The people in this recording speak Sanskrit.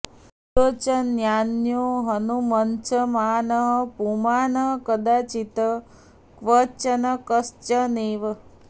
बुद्धौ च नान्यो हनुमत्समानः पुमान् कदाचित् क्वचकश्च नैव